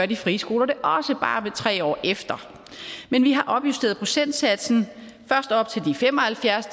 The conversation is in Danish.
de frie skoler det også bare tre år efter men vi har opjusteret procentsatsen først op til de fem og halvfjerds